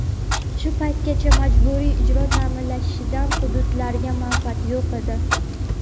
Shu paytgacha majburiy ijro ta’minlanishidan hududlarga manfaat yo‘q edi.